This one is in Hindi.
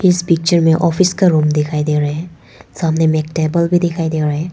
इस पिक्चर में ऑफिस का रूम दिखाई दे रहे हैं सामने में एक टेबल भी दिखाई दे रहा है।